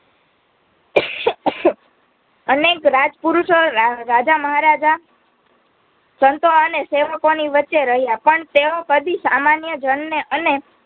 અનેક રાજપુરુષો રા રાજામહારાજા સંતો અને સેવકોની વચ્ચે રહ્યા પણ તેઓ કદી સમાન્યજનને અને